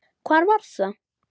Hvar var það?